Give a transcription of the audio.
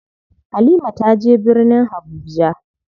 Halima taje birnin Habuja.